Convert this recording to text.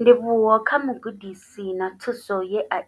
Ndivhuwo kha vhugudisi na thuso ye a